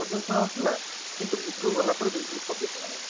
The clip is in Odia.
ଶୁଣା ଯାଉଥିଲା କିନ୍ତୁ ଭିତରକୁ ଗଲା ପରେ ବିଲକୁଲ ସବ୍ଧ ସୁନାଗଲାନି